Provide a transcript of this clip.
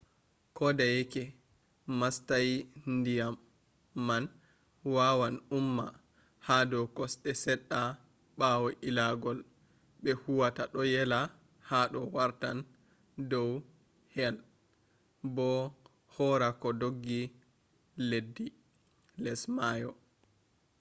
kodeyeke mastayi diyam man wawan umma hado kosde sedda bawo illangol be huwata do yela hado wartan do he’i bo hora koh doggi leddibars less mayo